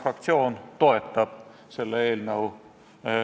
Teenindasid umb- ehk n-ö ingliskeelsed teenindajad, kelle inglise keel oli väga nõrk.